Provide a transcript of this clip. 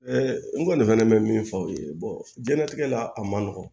n kɔni fana bɛ min fɔ aw ye jɛnatigɛ la a man nɔgɔn